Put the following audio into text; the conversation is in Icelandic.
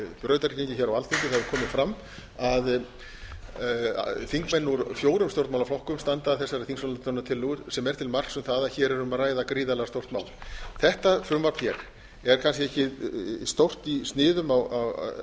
brautargengi hér á alþingi og það hefur komið fram að þingmenn úr fjórum stjórnmálaflokkum standa að þessari þingsályktunartillögu sem er til marks um það að hér er um að ræða gríðarlega stórt mál þetta frumvarp hér er kannski ekki stórt í sniðum í